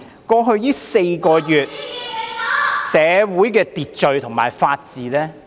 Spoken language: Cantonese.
過去4個月，社會的秩序和法治......